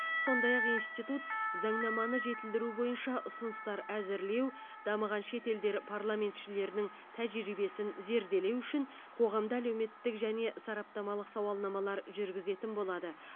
сондай ақ институт заңнаманы жетілдіру бойынша ұсыныстар әзірлеу дамыған шет елдер парламентшілерінің тәжірибесін зерделеу үшін қоғамда әлеуметтік және сараптамалық сауалнамалар жүргізетін болады